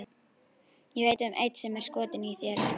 Ég veit um einn sem er skotinn í þér.